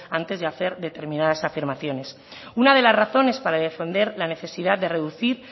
antes de hacer determinadas afirmaciones una de las razones para defender la necesidad de reducir